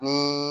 Ni